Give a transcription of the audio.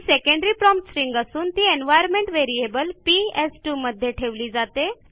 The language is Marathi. ही सेकंडरी प्रॉम्प्ट स्ट्रिंग असून ती एन्व्हायर्नमेंट व्हेरिएबल पीएस2 मध्ये ठेविली जाते